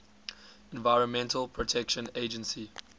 environmental protection agency